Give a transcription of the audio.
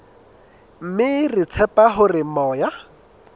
mme re tshepa hore moya